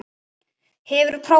Hefurðu prófað þetta?